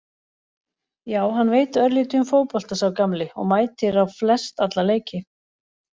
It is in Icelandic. Já hann veit örlítið um fótbolta sá gamli og mætir á flest alla leiki.